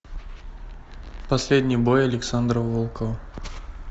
последний бой александра волкова